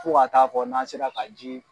Fo ka t'a fɔ n'an sera ka ji